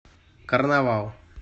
карнавал